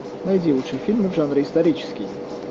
найди лучшие фильмы в жанре исторический